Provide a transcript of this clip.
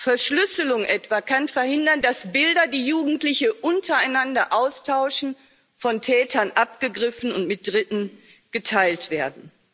Verschlüsselung etwa kann verhindern, dass Bilder, die Jugendliche untereinander austauschen, von Tätern abgegriffen und mit Dritten geteilt werden.